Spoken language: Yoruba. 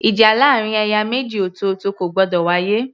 Ìjà láàrin ẹ̀yà méjì ọ̀tọ̀ọ̀tọ̀ kò gbọdọ̀ wá yé